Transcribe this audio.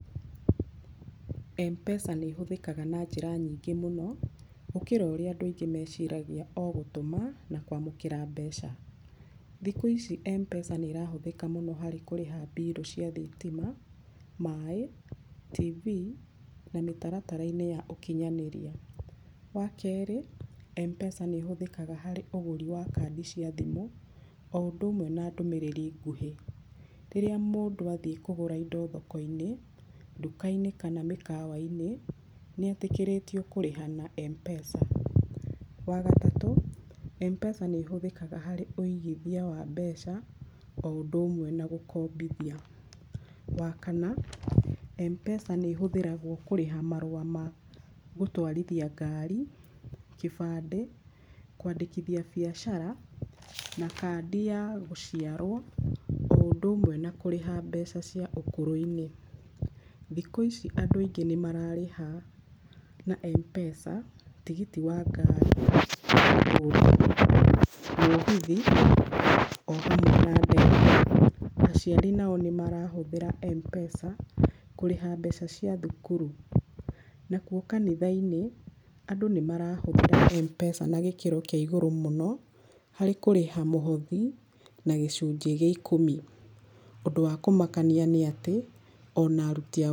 M-Pesa nĩ ĩhũthĩkaga na njĩra nyingĩ mũno, gũkĩra ũrĩa andũ meciragia o gũtũma na kwamũkĩra mbeca. Thikũ ici M-Pesa nĩ ĩrahũthĩka mũno harĩ kũrĩha bill cia thitima, maĩ, TV, na mĩtaratara ya ũkinyanĩria. Wa kerĩ, M-Pesa nĩ ĩhũthĩkaga harĩ ũgũri wa kandi cia thimũ o ũndũ ũmwe na ndũmĩrĩri nguhĩ. Rĩrĩa mũndũ athiĩ kũgũra indo thoko-inĩ, nduka-inĩ, kana mĩkawa-inĩ nĩ etĩkĩrĩtio kũrĩha na M-Pesa. Wa gatatũ, M-Pesa nĩ ĩhũthĩkaga harĩ ũigithia wa mbeca o ũndũ ũmwe na gũkombithia. Wa kana, M-Pesa nĩ ĩhũthĩragwo kũrĩha marũa ma gũtwarithia ngari, gĩbandĩ, kwandĩkithia biacara, na kandi ya gũciarwo o ũndũ ũmwe na kũrĩha mbeca cia ũkũrũ-inĩ. Thikũ ici andũ aingĩ nĩ mararĩha na M-Pesa tigiti wa ngari, mũgithi, o hamwe na. Aciari nao nĩ marahũthĩra M-Pesa kũrĩha mbeca cia thukuru. Nakuo kanitha-inĩ, andũ nĩ marahũthĩra Mpesa na gĩkĩro kĩa igũrũ mũno, harĩ kũrĩha mũhothi na gĩcunjĩ gĩa ikũmi. Ũndũ wa kũmakania nĩ atĩ, ona aruti a...